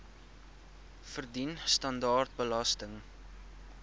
verdien standaard belasting